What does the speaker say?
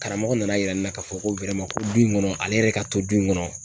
Karamɔgɔ nan yira ne na ka fɔ ko ko du in kɔnɔ ale yɛrɛ ka to du in kɔnɔ